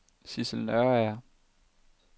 Sissel Nørager